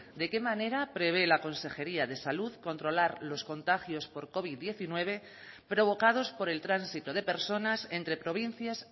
de qué manera prevé la consejería de salud controlar los contagios por covid diecinueve provocados por el tránsito de personas entre provincias